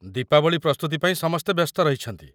ଦୀପାବଳୀ ପ୍ରସ୍ତୁତି ପାଇଁ ସମସ୍ତେ ବ୍ୟସ୍ତ ରହିଛନ୍ତି ।